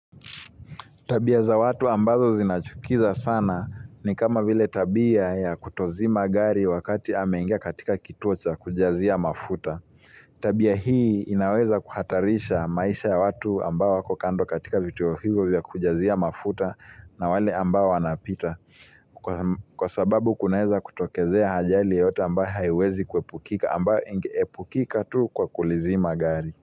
Tabia za watu ambazo zinachukiza sana ni kama vile tabia ya kutozima gari wakati ameingea katika kituo cha kujazia mafuta. Tabia hii inaweza kuhatarisha maisha ya watu ambao wako kando katika vituo hivyo vya kujazia mafuta na wale ambao wanapita. Kwa sababu kunaeza kutokezea ajali yoyote ambayo haiwezi kuepukika ambayo epukika tu kwa kulizima gari.